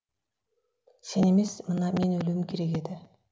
сен емес мына мен өлуім керек еді